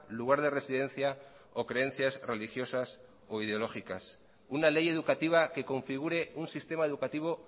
lugar de residencia o creencias religiosas o ideológicas una ley educativa que configure un sistema educativo